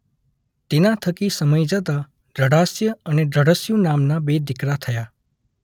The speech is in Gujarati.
તેના થકી સમય જતા દૃઢાસ્ય અને દૃઢસ્યુ નામના બે દીકરા થયા.